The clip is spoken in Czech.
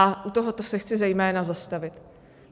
A u tohoto se chci zejména zastavit.